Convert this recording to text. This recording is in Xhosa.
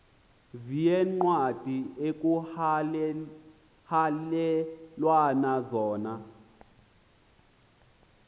veencwadi ekuhhalelwana zona